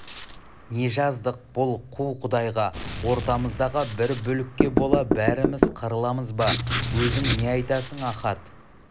не жаздық бұл қу құдайға ортамыздағы бір бүлікке бола бәріміз қырыламыз ба өзің не айтасың ахат